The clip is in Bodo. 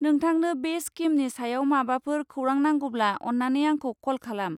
नोंथांनो बे स्किमनि सायाव माबाफोर खौरां नांगौब्ला अन्नानै आंखौ कल खालाम।